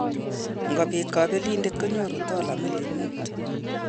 Ngobiit kabelindet konyoru dola million muut